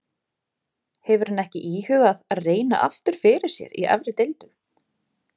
Hefur hann ekki íhugað að reyna aftur fyrir sér í efri deildum?